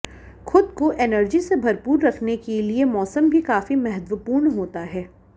खुद को एनर्जी से भरपूर रखने के लिए मौसम भी काफी महत्वपूर्ण होता है